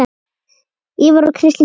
Ívar og Kristín skildu.